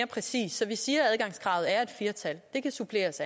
præcist så vi siger at adgangskravet er et fire tal det kan suppleres